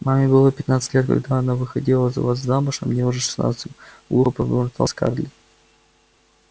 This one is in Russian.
маме было пятнадцать лет когда она выходила за вас замуж а мне уже шестнадцать глухо пробормотала скарлетт